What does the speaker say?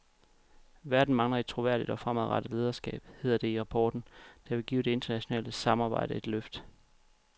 Verden mangler et troværdigt og fremadrettet lederskab, hedder det i rapporten, der vil give det internationale samarbejde et nyt løft.